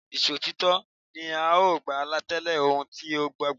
Ìṣòtítọ́ ni tí o bá tẹ̀lé ohun tí o gbàgbọ́.